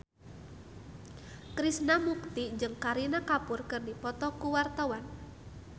Krishna Mukti jeung Kareena Kapoor keur dipoto ku wartawan